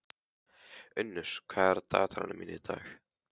Unnur, hvað er í dagatalinu mínu í dag?